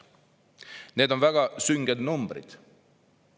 Need on väga sünged numbrid.